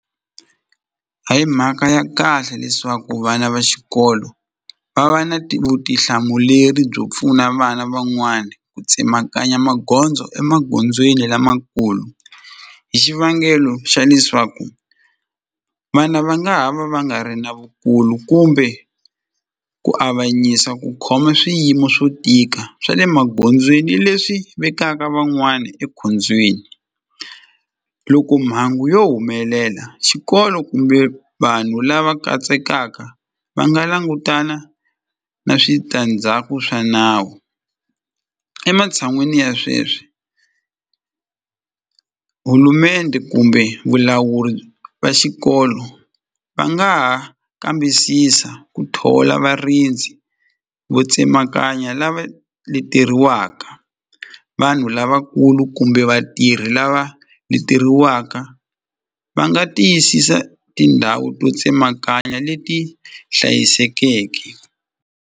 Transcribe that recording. A hi mhaka ya kahle leswaku vana va xikolo va va na vutihlamuleri byo pfuna vana van'wani ku tsemakanya magondzo emagondzweni lamakulu hi xivangelo xa leswaku vana va nga ha va va nga ri na vukulu kumbe ku avanyisa ku khoma swiyimo swo tika swa le magondzweni leswi vekaka van'wani ekhombyeni loko mhangu yo humelela xikolo kumbe vanhu lava katsekaka va nga langutana na switandzhaku swa nawu ematshan'wini ya sweswi kumbe vulawuri va xikolo va nga ha kambisisa ku thola varindzi vo tsemakanya lava leteriwaka vanhu lavakulu kumbe vatirhi lava leteriwaka va nga tiyisisa tindhawu to tsemakanya leti hlayisekeke.